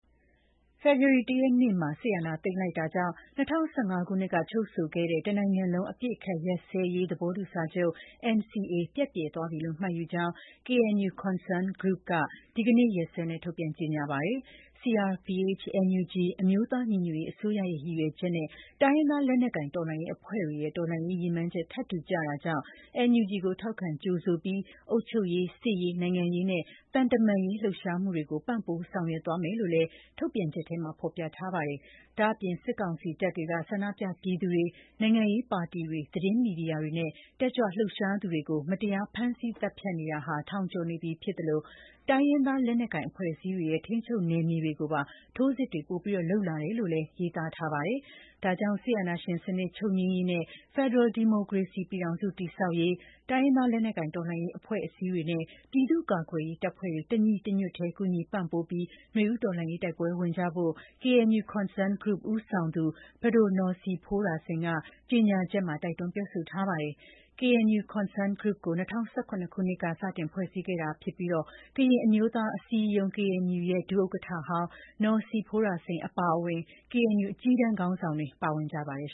ဖေဖော်ဝါရီလ ၁ ရက်နေ့မှာ စစ်အာဏာသိမ်းလိုက်တာကြောင့် ၂၀၁၅ ခုနှစ်ကချုပ်ဆိုခဲ့တဲ့ တနိုင်ငံလုံး အပစ်အခတ်ရပ်စဲရေး သဘောတူစာချုပ် (NCA) ပျက်ပြယ်သွားပြီလို့ မှတ်ယူကြောင်း KNU Concerned Group က ဒီကနေ့ရက်စွဲနဲ့ ထုတ်ပြန်ကြေညာလိုက်ပါတယ်။ CRPH/NUG အမျိုးသားညီညွတ်ရေးအစိုးရရဲ့ ရည်ရွယ်ချက်နဲ့ တိုင်းရင်းသားလက်နက်ကိုင်တော်လှန်ရေးအဖွဲ့တွေရဲ့ တော်လှန်ရေးရည်မှန်းချက် ထပ်တူကျတာကြောင့် NUG ကိုထောက်ခံကြိုဆိုပြီး အုပ်ချုပ်ရေး၊ စစ်ရေး၊ နိုင်ငံရေးနဲ့ သံတမန်ရေး လှုပ်ရှားမှုတွေကို ပံ့ပိုးဆောင်ရွက်သွားမယ်လို့လည်း ထုတ်ပြန်ချက်ထဲမှာ ဖော်ပြထားပါတယ်။ ဒါ့အပြင် စစ်ကောင်စီတပ်တွေက ဆန္ဒပြပြည်သူတွေ၊ နိုင်ငံရေးပါတီတွေ၊ သတင်းမီဒီယာတွေနဲ့ တက်ကြွလှုပ်ရှားသူတွေကို မတရား ဖမ်းဆီးသတ်ဖြတ်နေတာ ထောင်ကျော်နေပြီဖြစ်သလို တိုင်းရင်းသားလက်နက်ကိုင် အဖွဲ့အစည်းတွေရဲ့ ထိန်းချုပ်နယ်မြေတွေကိုပါ ထိုးစစ်တွေ ပိုလုပ်လာတယ်လို့ ရေးသားထားပါတယ်။ ဒါကြောင့် စစ်အာဏာရှင်စနစ် ချုပ်ငြိမ်းရေးနဲ့ ဖက်ဒရယ် ဒီမိုကရေစီပြည်ထောင်စု တည်ဆောက်ရေး တိုင်းရင်းသား လက်နက်ကိုင်တော်လှန်ရေး အဖွဲ့အစည်းတွေနဲ့ ပြည်သူ့ကာကွယ်ရေးတပ်ဖွဲ့တွေ တညီတညွတ်ထဲ ကူညီပံ့ပိုးပြီး နွေဦးတော်လှန်ရေး တိုက်ပွဲဝင်ကြဖို့ KNU Concerned Group ဦးဆောင်သူ ပဒို နော်စီဖိုးရာစိန် က ကြေညာချက်မှာ တိုက်တွန်းပြောဆိုထားပါတယ်။ KNU Concerned Group ကို ၂၀၁၇ ခုနှစ်က စတင်ဖွဲ့စည်းခဲ့တာဖြစ်ပြီး ကရင်အမျိုးသားအစည်းအရုံး KNU ရဲ့ ဒုဥက္ကဋ္ဌဟောင်း နော်ဇီဖိုးရာစိန်အပါအဝင် KNU အကြီးတန်းခေါင်းဆောင်တွေ ပါဝင်ကြပါတယ်